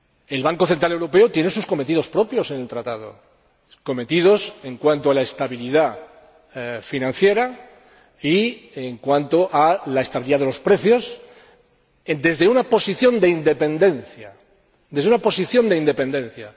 El Banco Central Europeo tiene sus cometidos propios en el Tratado, cometidos en cuanto a la estabilidad financiera y a la estabilidad de los precios, desde una posición de independencia.